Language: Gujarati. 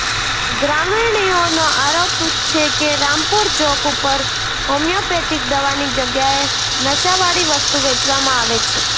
ગ્રામીણોનો આરોપ છે કે રામપુર ચોક ઉપર હોમિયોપેથીક દવાની જગ્યાએ નશાવાળી વસ્તુ વેચવામાં આવે છે